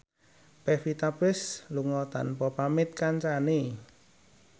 Pevita Pearce lunga tanpa pamit kancane